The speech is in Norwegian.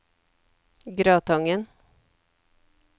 Gratangen